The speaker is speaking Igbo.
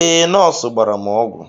Ee nọọsụ gbara m ọgwụ